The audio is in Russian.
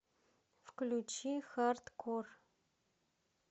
включи хардкор